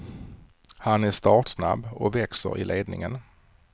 Han är startsnabb och växer i ledningen.